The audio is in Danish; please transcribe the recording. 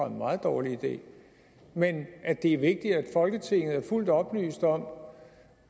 en meget dårlig idé men at det er vigtigt at folketinget er fuldt oplyst om